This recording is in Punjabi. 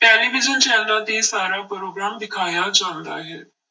ਟੈਲੀਵਿਜ਼ਨ ਚੈਨਲਾਂ ਤੇ ਸਾਰਾ ਪ੍ਰੋਗਰਾਮ ਦਿਖਾਇਆ ਜਾਂਦਾ ਹੈ।